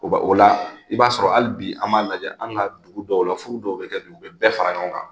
Ko o la i b'a sɔrɔ hali bi an m'a lajɛ, an ka dugu dɔw la furu dɔw bɛ kɛ dugu, u bɛ bɛɛ fara ɲɔgɔn kan.